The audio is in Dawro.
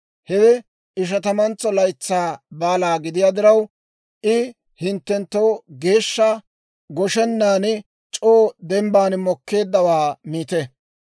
Hewe Ishatamantso Laytsaa Baala gidiyaa diraw, I hinttenttoo geeshsha; goshenan c'oo dembban mokkeeddawaa miite.